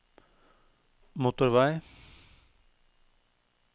motorvei